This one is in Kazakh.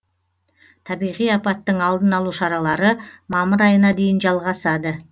табиғи апаттың алдын алу шаралары мамыр айына дейін жалғасады